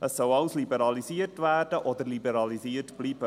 Es soll alles liberalisiert werden oder liberalisiert bleiben.